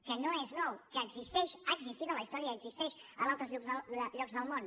que no és nou que existeix ha existit en la història i existeix en altres llocs del món